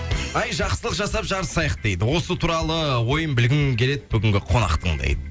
ай жақсылық жасап жарысайық дейді осы туралы ойын білгім келеді бүгінгі қонақтың дейді